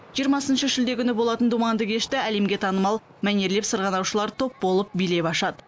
жиырмасыншы шілде күні болатын думанды кешті әлемге танымал мәнерлеп сырғанаушылар топ болып билеп ашады